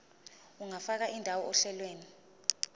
ungafaka indawo ohlelweni